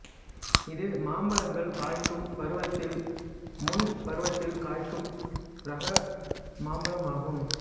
இது மாம்பழங்கள் காய்க்கும் பருவத்தில் முன் பருவத்தில் காய்க்கும் இரக மாம்பழமாகும்